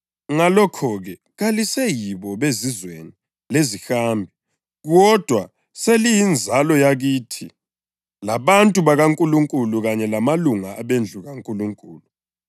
Ngalokho-ke, kaliseyibo bezizweni lezihambi, kodwa seliyinzalo yakithi labantu bakaNkulunkulu, kanye lamalunga abendlu kaNkulunkulu,